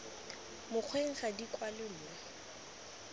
mokgweng ga di kwalwe mo